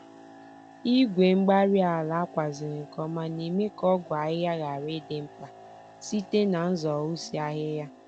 Igwe-mgbárí-ala ákwàziri nke ọma némè' ka ọgwụ ahịhịa ghara ịdị mkpa, site n'zoghusi ahịhịa.